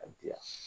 A diya